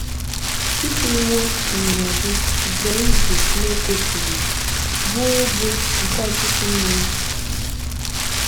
Ị chịrịwo ịnyịnya Gị zọọ ije n’oké osimiri, bụ́ obo nke ọtụtụ mmiri. ”